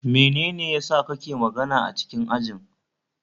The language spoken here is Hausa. Menene yasa ka ke magana a cikin ajin?